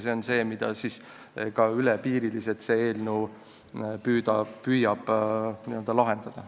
See on see, mida see eelnõu püüab ka ülepiiriliselt lahendada.